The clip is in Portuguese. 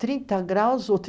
30 graus ou